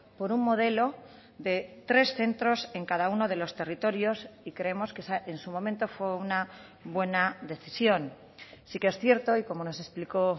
por un modelo de tres centros en cada uno de los territorios y creemos que en su momento fue una buena decisión sí que es cierto y como nos explicó